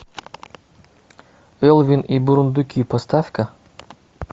элвин и бурундуки поставь ка